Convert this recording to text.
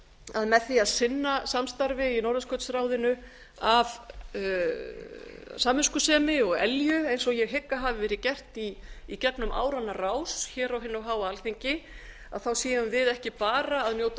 að með því að sinna samstarfi í norðurskautsráðinu af samviskusemi og elju eins og ég hygg að hafi verið gert í gegnum áranna rás hér á hinu háa alþingi séum við ekki bara að njóta